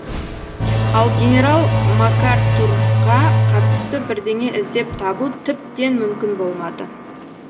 ал генерал макартурға қатысты бірдеңе іздеп табу тіптен мүмкін болмады